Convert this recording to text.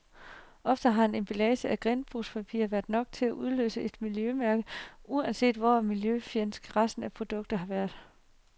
Ofte har en emballage af genbrugspapir været nok til at udløse et miljømærke, uanset hvor miljøfjendsk resten af produktet har været.